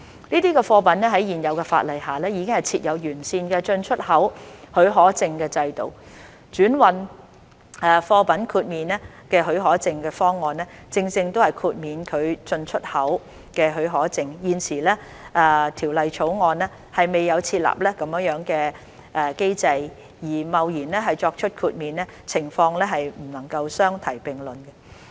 這些貨物在現有法例下已設有完善的進出口許可證的制度，轉運貨品豁免許可證的方案正正是豁免其進/出口許可證，而現時《條例草案》未有設立這樣的機制而貿然作出豁免，情況不能相提並論。